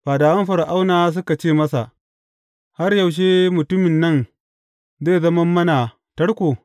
Fadawan Fir’auna suka ce masa, Har yaushe mutumin nan zai zama mana tarko?